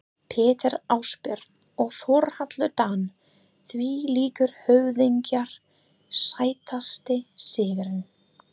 Pétur Ásbjörn og Þórhallur Dan þvílíkir höfðingjar Sætasti sigurinn?